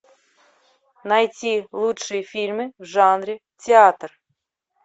найти лучшие фильмы в жанре театр